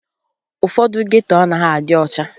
Ụfọdụ geto anaghị adị ọcha